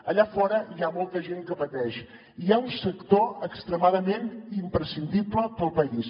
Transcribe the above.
allà fora hi ha molta gent que pateix i hi ha un sector extremadament imprescindible per al país